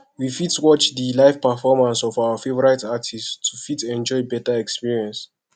we fit watch di live performance of our favourite artist to fit enjoy better experience